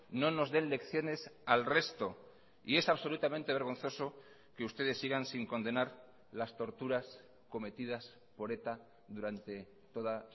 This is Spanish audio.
no nos den lecciones al resto y es absolutamente vergonzoso que ustedes sigan sin condenar las torturas cometidas por eta durante toda